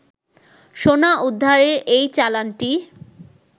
সোনা উদ্ধারের এই চালানটি